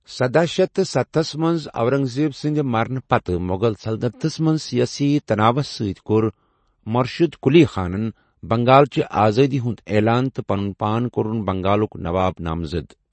شدہَ شیتھ تہٕ ستَس منٛز اورنگ زیب سنٛد مرنہٕ پتہٕ مغل سلطنتس منٛز سیٲسی تناوس سۭتۍ کوٚر مرشد قلی خانن بنگال چہ آزٲدی ہُنٛد اعلان تہٕ پَنُن پان کوٚرُن بنگالُک نواب نامزد۔